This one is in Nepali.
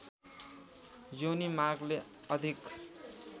योनि मार्गले अधिक